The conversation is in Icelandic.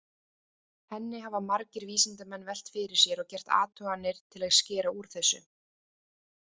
Henni hafa margir vísindamenn velt fyrir sér og gert athuganir til að skera úr þessu.